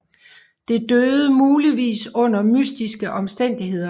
Det døde muligvis under mystiske omstændigheder